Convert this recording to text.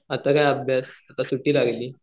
आता काय अभ्यास आता सुट्टी लागली.